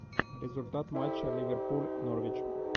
результаты матча ливерпуль норвич